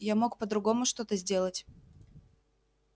я мог по-другому что-то сделать